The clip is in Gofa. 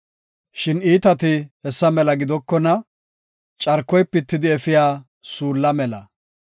Shin iitati hessa mela gidokona; carkoy pitidi efiya suulla mela.